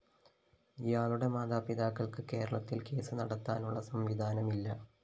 ഇയാളുടെ മാതാപിതാക്കള്‍ക്ക് കേരളത്തില്‍ കേസ് നടത്താനുള്ള സംവിധാനമില്ല